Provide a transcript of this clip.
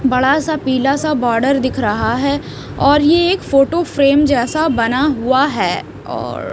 बड़ा सा पीला सा बॉर्डर दिख रहा हैऔर यह एक फोटो फ्रेम जैसा बना हुआ है और--